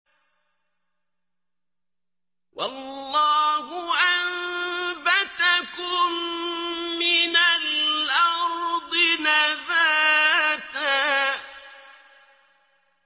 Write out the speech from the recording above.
وَاللَّهُ أَنبَتَكُم مِّنَ الْأَرْضِ نَبَاتًا